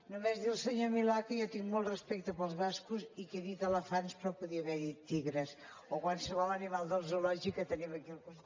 només dir al senyor milà que jo tinc molt respecte pels bascos i que he dit elefants però podia haver dit tigres o qualsevol animal del zoològic que tenim aquí al costat